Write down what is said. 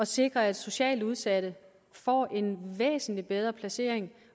sikre at socialt udsatte får en væsentlig bedre placering